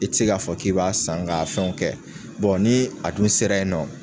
I tɛ se k'a fɔ k'i b'a san ga fɛnw kɛ ni a dun sera yen nɔ